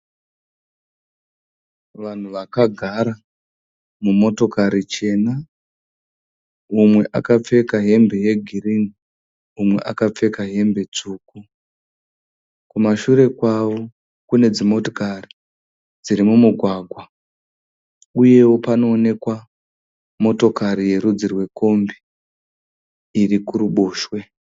Vanhu vakagara mumotokari chena, mumwe akapfeka hembe hembe yegirini, umwe akapfeka hembe tsvuku. Kumushure kwavo kune dzimotikari dziri mumugwagwa. Uyewo kunoonekwa motikari iri kurudzi rwekombi.